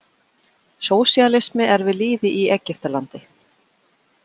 Sósíalismi er við lýði í Egyptalandi.